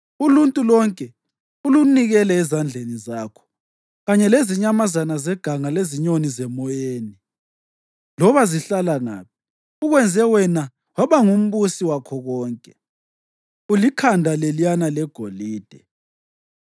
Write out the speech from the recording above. uluntu lonke ulunikele ezandleni zakho kanye lezinyamazana zeganga lezinyoni zemoyeni. Loba zihlala ngaphi, ukwenze wena waba ngumbusi wakho konke. Ulikhanda leliyana legolide.